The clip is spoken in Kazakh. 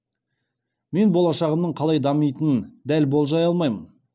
мен болашағымның қалай дамитынын дәл болжай алмаймын